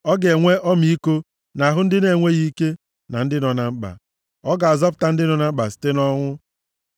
Ọ ga-enwe ọmịiko nʼahụ ndị na-enweghị ike, na ndị nọ na mkpa, ọ ga-azọpụta ndị nọ na mkpa site nʼọnwụ.